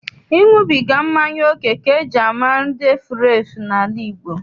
Ịṅụbiga mmanya oke ka eji mara ndị efurefu n'ala Igbo.